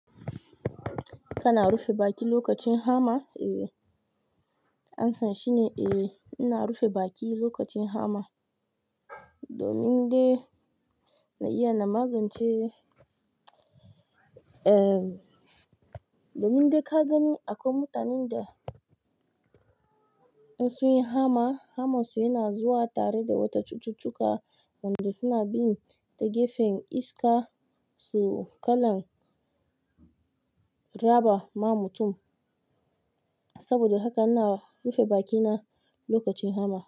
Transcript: Kana rufe baki lokacin hama? Eh, amsa shine eh, ina rufe baki lokacin hama domin dai na iya na magance, eh, domin dai ka gani akwai mutanen da in sun yi hama, hamar su yana zuwa tare da wata cututtuka wanda suna bin ta gefen iska su kalan raba ma mutum. Saboda haka ina rufe bakina lokacin hama.